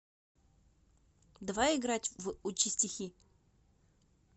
давай играть в учи стихи